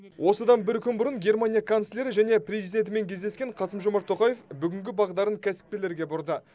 осыдан бір күн бұрын германия канцлері және президентімен кездескен қасым жомарт тоқаев бүгінгі бағдарын кәсіпкерлерге бұрды